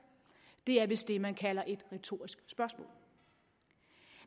det er vist det man kalder et retorisk spørgsmål